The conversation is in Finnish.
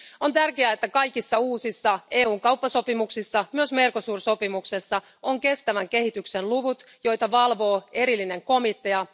On tärkeää, että kaikissa uusissa EUn kauppasopimuksissa, myös Mercosur sopimuksessa, on kestävän kehityksen luvut, joita valvoo erillinen komitea.